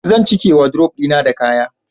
zan cike wadrob dina da kaya